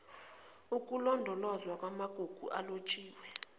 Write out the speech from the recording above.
ukulondolozwa kwamagugu alotshiwe